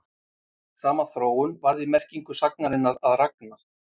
Sama þróun varð í merkingu sagnarinnar að ragna.